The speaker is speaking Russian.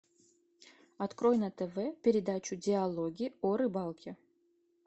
открой на тв передачу диалоги о рыбалке